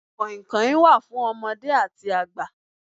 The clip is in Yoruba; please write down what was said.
Kàìnkàìn wà fún ọmọdé àti àgbà.